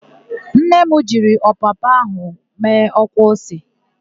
Nne m jiri ọpapa ahụ mee ọkwa ose.